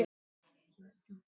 En hver vill það?